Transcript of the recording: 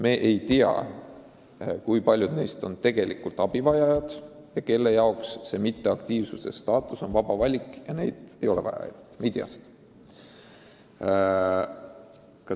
Me ei tea, kui paljud neist on tegelikult abivajajad ja kui paljude jaoks see mitteaktiivse staatus on vaba valik, nii et neid ei ole vaja aidata.